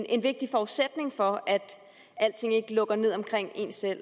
en vigtig forudsætning for at alting ikke lukker ned omkring en selv